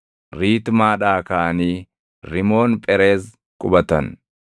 Riitmaadhaa kaʼanii Rimoon Phereez qubatan.